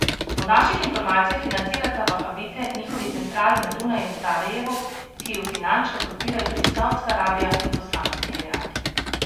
Po naših informacijah financirata vahabite njihovi centrali na Dunaju in v Sarajevu, ki ju finančno podpirajo tudi Saudska Arabija in posamezni emirati.